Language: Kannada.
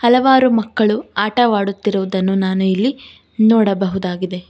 ಹಲವಾರು ಮಕ್ಕಳು ಆಟವಾಡುತ್ತಿರುವುದನ್ನು ನಾನು ಇಲ್ಲಿ ನೋಡಬಹುದಾಗಿದೆ.